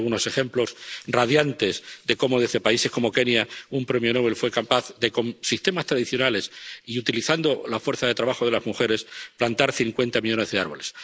Y hay algunos ejemplos radiantes de cómo, desde países como Kenia, un premio Nobel fue capaz de, con sistemas tradicionales y utilizando la fuerza de trabajo de las mujeres, plantar cincuenta millones de árboles.